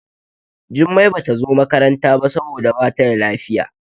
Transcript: Jummai Bata zo makaranta ba saboda Bata da lafiya.